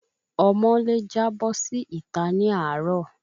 Ọmọ lè jábọ́ sí ita ni àárò